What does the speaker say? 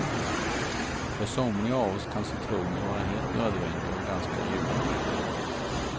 För somliga av oss kan citroner vara helt nödvändiga och ganska ljuvliga.